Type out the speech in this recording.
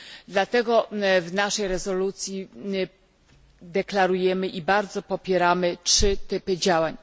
Dlatego w naszej rezolucji deklarujemy i bardzo popieramy 3 typy działań.